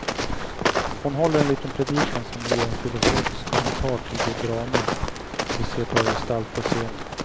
Hon håller en liten predikan som blir en filosofisk kommentar till det drama de ser ta gestalt på scenen.